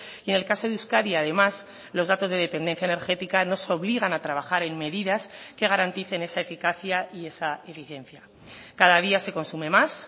y en el caso de euskadi además los datos de dependencia energética nos obligan a trabajar en medidas que garanticen esa eficacia y esa eficiencia cada día se consume más